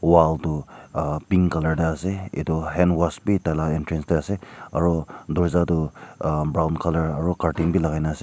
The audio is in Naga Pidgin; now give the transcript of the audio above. wall toh pink colour tae ase etu handwash bhi taila entrance tae ase aru dorja toh brown colour aru curtain vi lagai na ase.